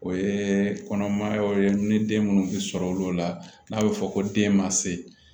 O ye kɔnɔmaya yɔrɔ ye ni den minnu bɛ sɔrɔ olu la n'a bɛ fɔ ko den ma se